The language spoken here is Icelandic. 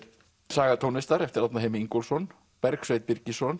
Saga tónlistar eftir Árna Heimi Ingólfsson Bergsveinn Birgisson